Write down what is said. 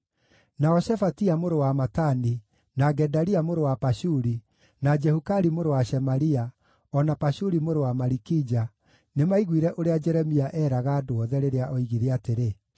Nao Shefatia mũrũ wa Matani, na Gedalia mũrũ wa Pashuri, na Jehukali mũrũ wa Shemalia, o na Pashuri mũrũ wa Malikija nĩmaiguire ũrĩa Jeremia eeraga andũ othe, rĩrĩa oigire atĩrĩ,